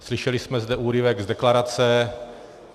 Slyšeli jsme zde úryvek z deklarace.